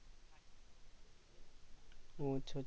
ও আচ্ছা আচ্ছা